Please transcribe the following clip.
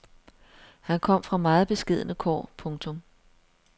Han kom fra meget beskedne kår. punktum